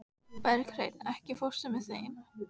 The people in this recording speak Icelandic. Berghreinn, ekki fórstu með þeim?